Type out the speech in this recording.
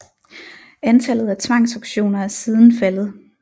Antallet af tvangsauktioner er siden faldet